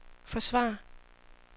forsvare